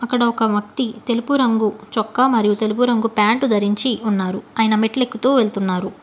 ఇక్కడ ఒక వక్తి తెలుపు రంగు చొక్కా మరియు తెలుగు రంగు ప్యాంటు ధరించి ఉన్నారు. ఆయన మెట్లెక్కుతూ వెళ్తున్నారు.